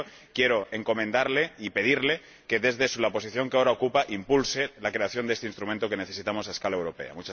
Y por ello, quiero encomendarle y pedirle que, desde la posición que ahora ocupa, impulse la creación de este instrumento, que necesitamos a escala europea.